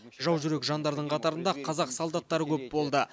жаужүрек жандардың қатарында қазақ солдаттары көп болды